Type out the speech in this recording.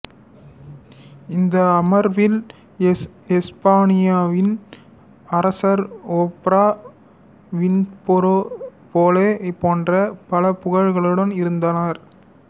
இந்த அமர்வில் எசுப்பானியாவின் அரசர் ஓப்ரா வின்ஃப்ரே பெலே போன்ற பல புகழாளர்களும் இருந்தனர்